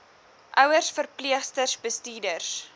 ouers verpleegsters bestuurders